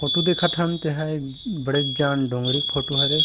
Photo देखा थन तेहा एक बड़ेज जान डोंगरी के फोटो हरे।